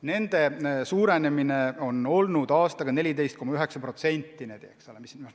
Nende arv on aastaga kasvanud 14,9%.